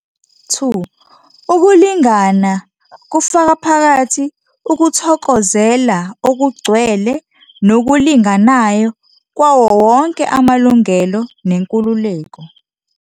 2 Ukulingana kufaka phakathi ukuthokozela okugcwele nokulinganayo kwawo wonke amalungelo nenkululeko.